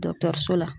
so la